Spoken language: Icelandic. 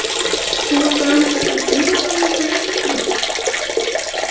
Þú ert að rannsaka sundmenningu Íslendinga?